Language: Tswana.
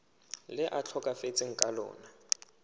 le a tlhokafetseng ka lona